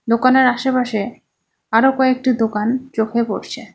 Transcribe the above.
দোকানের আশেপাশে আরো কয়েকটা দোকান চোখে পড়ছে।